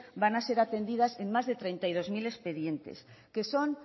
van a ser atendidas en más de treinta y dos mil expedientes que son